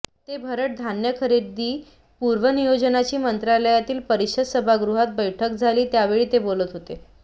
ते भरड धान्य खरेदी पूर्व नियोजनाची मंत्रालयातील परिषद सभागृहात बैठक झाली त्यावेळी ते बोलत होते